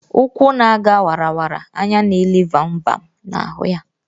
Ụkwụ na- aga wara wara, anya n'ele vam vam na-ahụ ya.